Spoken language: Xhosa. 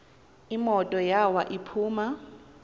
imoto yawo iphuma